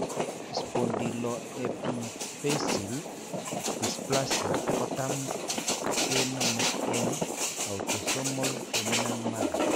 Spondyloepiphyseal dysplasia kotam kenome eng' autosomal dominant manner